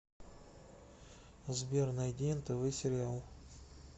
сбер найди нтв сериал